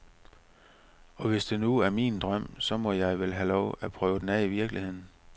Og hvis det nu er min drøm, så må jeg vel have lov at prøve den af i virkeligheden.